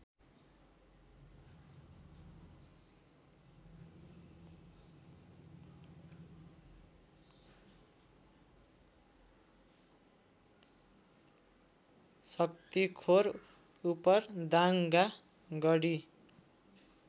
Shaktikhor Upardanga Garhi